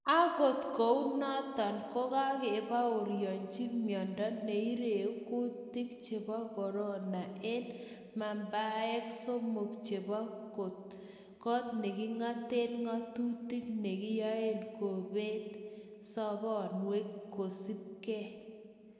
Akot kounoton kokakebaoryonji miondo neireu kutik chebo Corona en membaek somok chebo kot nekingaten ngatutik nekayai kobet sobonwek kosipke